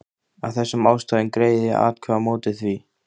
Af þessum ástæðum greiði ég atkvæði á móti því, að